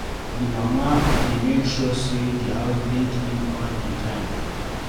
The mama de make sure say di house dey clean all the time